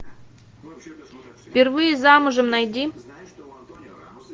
впервые замужем найди